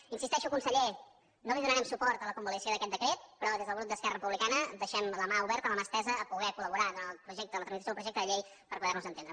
hi insisteixo conseller no li donarem suport a la convalidació d’aquest decret però des del grup d’esquerra republicana deixem la mà oberta la mà estesa a poder col·laborar durant el projecte la tramitació del projecte de llei per poder nos entendre